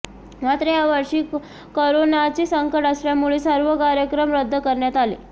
मात्र यावर्षी करोनाचे संकट असल्यामुळे सर्व कार्यक्रम रद्द करण्यात आले